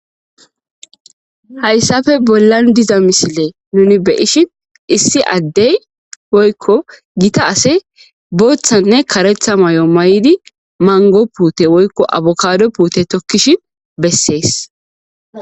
Hayssafe bollan diza misile nuni beyishin issi addey oykko gita ase booththanne karetha may,o may7idi mango puute woykko .abokado puute tokkishin bessees.